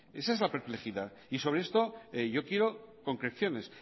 esa es la perplejidad y sobre esto yo quiero concreciones